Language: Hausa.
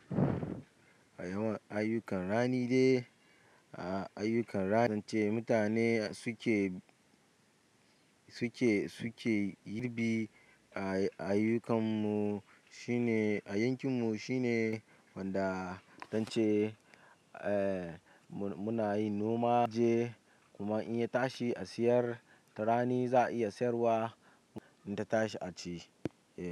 A yawan ayyukan rani ne dai, a ayyukan rani zance mutane suke, suke, suke girbi a ayyukan mu shine a yankin mu shine wanda zance, eh, mu muna yin noma, je kuma in ya tashi a siyar ta rani za a iya sayarwa in ta tashi a ci, eh.